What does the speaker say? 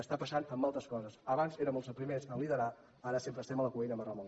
està passant amb altres coses abans érem els primers a liderar ara sempre estem a la cua i anem a remolc